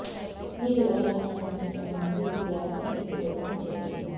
ఆ వివరాలను అందించే క్రమంలో ఈ వ్యాసం మీకు దోహదం చేస్తుంది